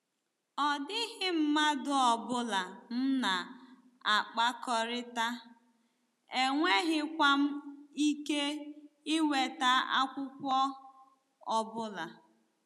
Ọ dịghị mmadụ ọ bụla m na-akpakọrịta, enweghịkwa m ike inweta akwụkwọ ọ bụla.